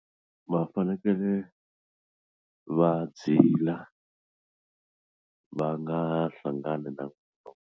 Va fanekele va zila va nga hlangani na .